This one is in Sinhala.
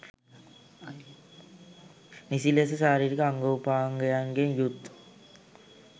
නිසි ලෙස ශාරීරික අංගෝපාංගයන්ගෙන් යුත්